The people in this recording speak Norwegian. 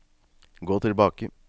gå tilbake